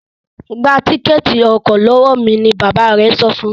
Gbà Tíkẹ́ẹ̀tì ọkọ̀ lọwọ mí! ní bàbá rẹ sọfún.